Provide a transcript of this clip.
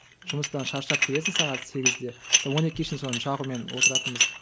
жұмыстан шаршап келесің сағат сегізде соны он екіге шейін соны жағумен отыратынбыз